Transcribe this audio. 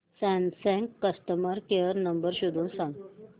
Samsung customer care number शोधून सांग